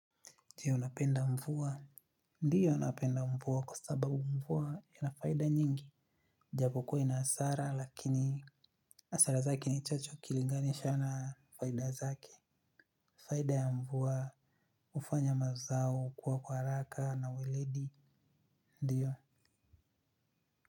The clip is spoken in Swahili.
Ndiyo napenda mvua. Ndiyo napenda mvua kwa sababu mvua ina faida nyingi. Japokuwa ina hasara lakini hasara zake ni chache ukilinganisha na faida zake. Faida ya mvua hufanya mazao kuwa kwa haraka na weledi. Ndiyo.